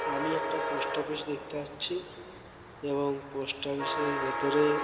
আমি একটা post office দেখতে পাচ্ছি। এবং পোস্ট অফিসের ভেতরে--